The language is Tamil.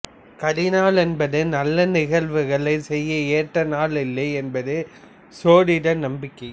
கரிநாள் என்பது நல்ல நிகழ்வுகளைச் செய்ய ஏற்ற நாள் இல்லை என்பது சோதிட நம்பிக்கை